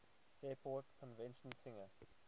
fairport convention singer